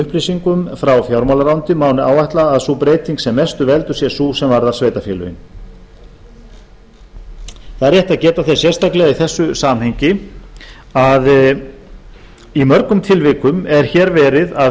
upplýsingum frá fjármálaráðuneyti má ætla að sú breyting sem mestu veldur sé sú sem varðar sveitarfélögin það er rétt að geta þess sérstaklega í þessu samhengi að í mörgum tilvikum er hér verið að